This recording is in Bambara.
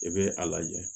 I bɛ a lajɛ